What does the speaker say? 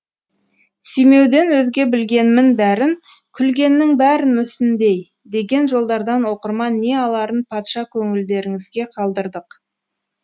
сүймеуден өзге білгенмін бәрін күлгеннің бәрін мүсіндей деген жолдардан оқырман не аларын патша көңілдеріңізге қалдырдық